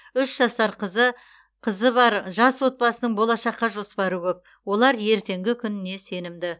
үш жасар қызы қызы бар жас отбасының болашаққа жоспары көп олар ертеңгі күніне сенімді